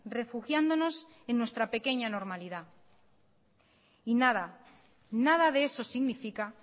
refugiándonos en nuestra pequeña normalidad y nada nada de eso significa